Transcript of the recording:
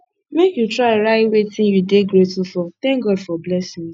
make you try write wetin you dey grateful for thank god for blessings